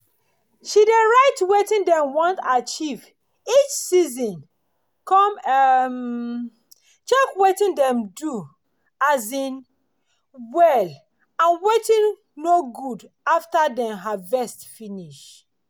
she dey write wetin dem want achieve each season con um check wetin dem do um well and wetin no good after dem harvest finish.